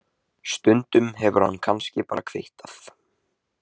Stundum hefur hann kannski bara kvittað.